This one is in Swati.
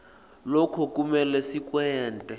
loku kumele sikwente